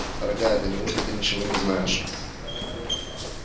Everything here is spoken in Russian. дорогая да неужто ты ничего не знаешь